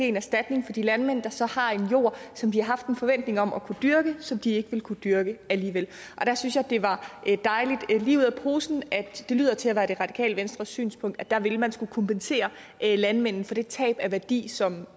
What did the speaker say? en erstatning til de landmænd der så har en jord som de har haft en forventning om at kunne dyrke som de ikke vil kunne dyrke alligevel og der synes jeg det var dejligt lige ud af posen at det lyder til at være det radikale venstres synspunkt at der vil man skulle kompensere landmændene for det tab af værdi som